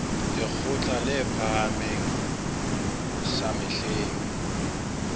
lekgotla le phahameng sa mehleng